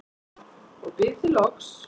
og bið þig loks